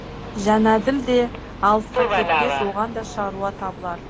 жәнәділ де алысқа кетпес оған да шаруа табылар